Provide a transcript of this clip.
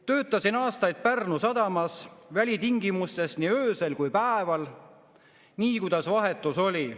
Töötasin aastaid Pärnu sadamas välitingimustes nii öösel kui päeval, nii kuidas vahetus oli.